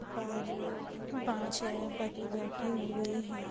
पर पांच-छे बच्चे बैठे हुए है।